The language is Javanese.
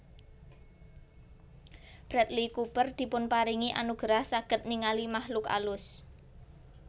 Bradley Cooper dipunparingi anugerah saget ningali makhluk alus